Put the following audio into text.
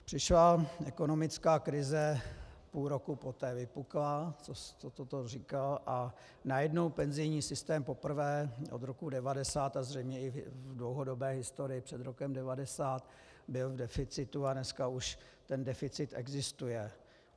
Přišla ekonomická krize, půl roku poté vypukla, co toto říkal, a najednou penzijní systém poprvé od roku 1990 a zřejmě i v dlouhodobé historii před rokem 1990 byl v deficitu a dneska už ten deficit existuje.